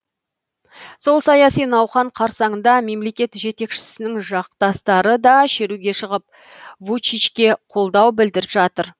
сол саяси науқан қарсаңында мемлекет жетекшісінің жақтастары да шеруге шығып вучичке қолдау білдіріп жатыр